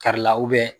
Kari la